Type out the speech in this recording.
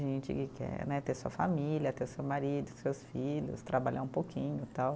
Gente que quer né ter sua família, ter seu marido, seus filhos, trabalhar um pouquinho e tal.